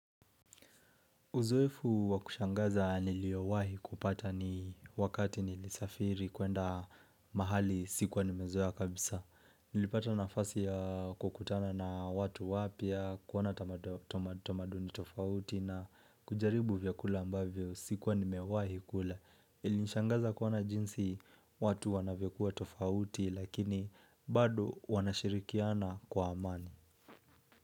Uzoefu wakushangaza niliowahi kupata ni wakati nilisafiri kuenda mahali sikuwa nimezoa kabisa. Nilipata nafasi ya kukutana na watu wapia, kuona tamaduni tofauti na kujaribu vyakula ambavyo sikuwa nimewahi kula Ilishangaza kuona jinsi watu wanavyokuwa tofauti lakini bado wanashirikiana kwa amani.